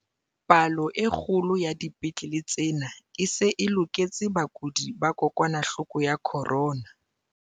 "Palo e kgolo ya dipetlele tsena e se e loketse bakudi ba kokwanahloko ya corona."